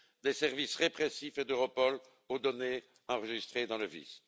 des services répressifs et d'Europol aux données enregistrées dans le VIS.